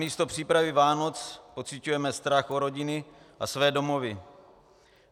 Namísto přípravy Vánoc pociťujeme strach o rodiny a své domovy.